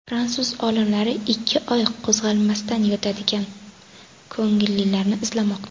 Fransuz olimlari ikki oy qo‘zg‘almasdan yotadigan ko‘ngillilarni izlamoqda.